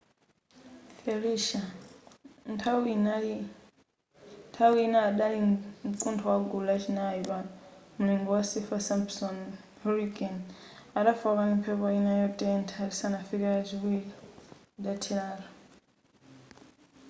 felicia nthawi ina adali mkuntho wa gulu la chinayi pa mulingo wa saffir-simpson hurricane adafooka ndi mphepo ina yotentha lisanafike lachiwiri idatheratu